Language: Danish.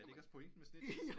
Er det ikke meningen med scitches